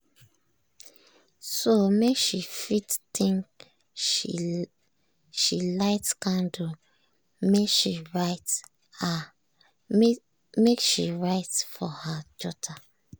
so make she fit think she light candle make she write for her jotter.